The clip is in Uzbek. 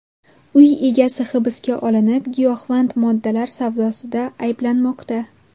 Uy egasi hibsga olinib, giyohvand moddalar savdosida ayblanmoqda.